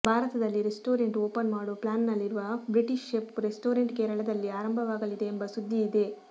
ಭಾರತದಲ್ಲಿ restaurant open ಮಾಡೋ ಪ್ಲಾನ್ನಲ್ಲಿರುವ ಬ್ರಿಟಿಷ್ ಶೆಫ್ ರೆಸ್ಟೋರೆಂಟ್ ಕೇರಳದಲ್ಲಿ ಆರಂಭವಾಗಲಿದೆ ಎಂಬ ಸುದ್ದಿ ಇದೆ